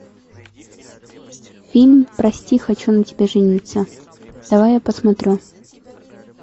фильм прости хочу на тебе жениться давай я посмотрю